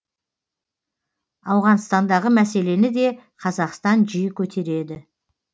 ауғанстандағы мәселені де қазақстан жиі көтереді